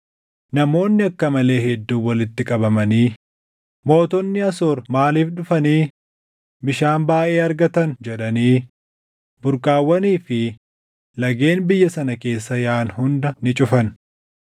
Namoonni akka malee hedduun walitti qabamanii, “Mootonni Asoor maaliif dhufanii bishaan baayʼee argatan?” jedhanii burqaawwanii fi lageen biyya sana keessa yaaʼan hunda ni cufan.